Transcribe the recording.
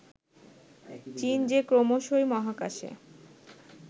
চীন যে ক্রমশই মহাকাশে